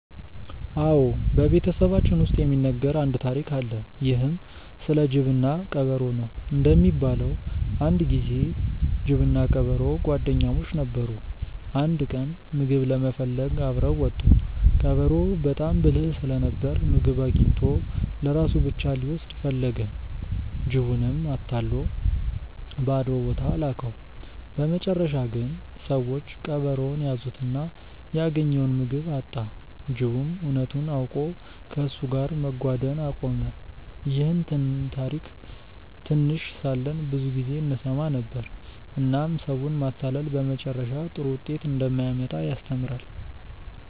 አዎ፣ በቤተሰባችን ውስጥ የሚነገር አንድ ታሪክ አለ። ይህም ስለ ጅብና ቀበሮ ነው። እንደሚባለው አንድ ጊዜ ጅብና ቀበሮ ጓደኛሞች ነበሩ። አንድ ቀን ምግብ ለመፈለግ አብረው ወጡ። ቀበሮው በጣም ብልህ ስለነበር ምግብ አግኝቶ ለራሱ ብቻ ሊወስድ ፈለገ። ጅቡንም አታሎ ባዶ ቦታ ላከው። በመጨረሻ ግን ሰዎች ቀበሮውን ያዙትና ያገኘውን ምግብ አጣ። ጅቡም እውነቱን አውቆ ከእሱ ጋር መጓደን አቆመ። ይህን ታሪክ ትንሽ ሳለን ብዙ ጊዜ እንሰማ ነበር፣ እናም ሰውን ማታለል በመጨረሻ ጥሩ ውጤት እንደማያመጣ ያስተምራል።